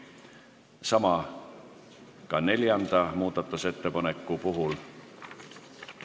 Sama kehtib ka neljanda muudatusettepaneku kohta.